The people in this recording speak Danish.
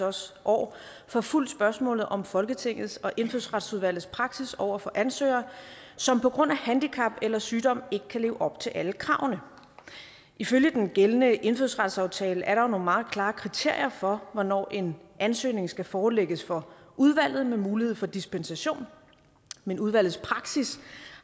også år forfulgt spørgsmålet om folketingets og indfødsretsudvalgets praksis over for ansøgere som på grund af handicap eller sygdom ikke kan leve op til alle kravene ifølge den gældende indfødsretsaftale er der jo nogle meget klare kriterier for hvornår en ansøgning skal forelægges for udvalget med mulighed for dispensation men udvalgets praksis